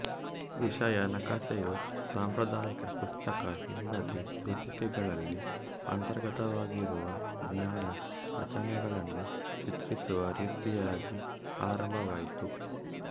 ವಿಷಯ ನಕಾಸೆಯು ಸಾಂಪ್ರದಾಯಿಕ ಪುಸ್ತಕ ಹಿಂಬದಿ ಸೂಚಿಕೆಗಳಲ್ಲಿ ಅಂತರ್ಗತವಾಗಿರುವ ಜ್ಞಾನ ರಚನೆಗಳನ್ನು ಚಿತ್ರಿಸುವ ರೀತಿಯಾಗಿ ಆರಂಭವಾಯಿತು